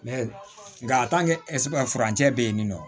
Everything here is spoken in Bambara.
nka ɛsike furancɛ be yen nin nɔ